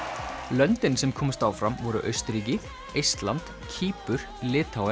löndin sem komust áfram voru Austurríki Eistland Kýpur